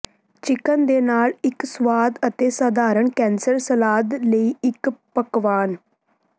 chicken ਦੇ ਨਾਲ ਇੱਕ ਸਵਾਦ ਅਤੇ ਸਧਾਰਨ ਕੈਸਰ ਸਲਾਦ ਲਈ ਇੱਕ ਪਕਵਾਨ